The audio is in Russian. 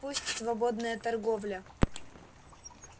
пусть свободная торговля